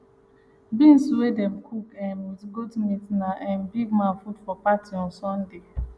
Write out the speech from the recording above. beans wey dem cook um with goat meat na um big man food for party on sunday